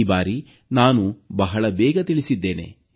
ಈ ಬಾರಿ ನಾನು ಬಹಳ ಬೇಗ ತಿಳಿಸಿದ್ದೇನೆ